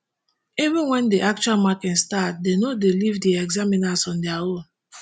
even wen di actual marking start dem no dey leave di examiners on dia own